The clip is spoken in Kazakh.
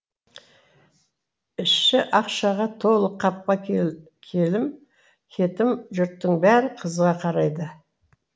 іші ақшаға толы қапқа келім кетім жұрттың бәрі қызыға қарайды